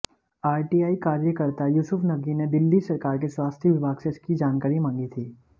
RTI कार्यकर्ता युसूफ नकी ने दिल्ली सरकार के स्वास्थय विभाग से इसकी जानकारी मांगी थी